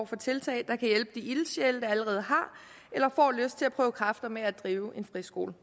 for tiltag der kan hjælpe de ildsjæle der allerede har eller får lyst til at prøve kræfter med at drive en friskole